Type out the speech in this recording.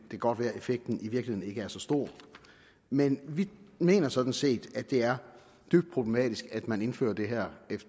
kan godt være at effekten i virkeligheden ikke er så stor men vi mener sådan set at det er dybt problematisk at man indfører det her